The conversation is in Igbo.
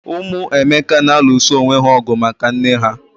Ụmụ Emeka na alụso onwé ha ọgụ maka nné ha